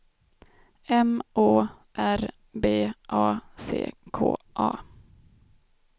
M Å R B A C K A